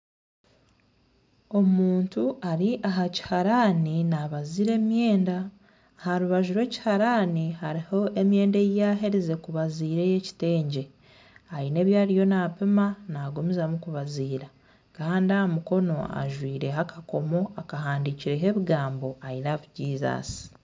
Omuntu ari aha kihaarani nabaziira emyenda aharubaju rw'ekihaarani hariho emyenda eyiyaherize kubaziira ey'ekitengye. Aine ebi ariyo nampima nagumizamu kubaziira kandi aha mukono ajwaireho akakoomo akahandiikirweho ebigambo I love Jesus.